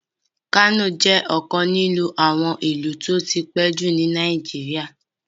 Kano jẹ ọkan nínu àwọn ìlú ti o tí pẹ ju ni Naijiria